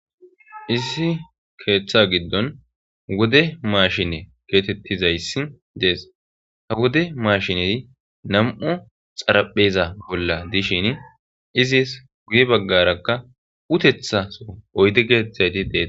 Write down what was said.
issi keeththa giddon wode maashine keetettizayssi dees ha wode maashine nam7u xarapheza bolla dishin izis guye baggarakka utethaso oydi geeteththayti dee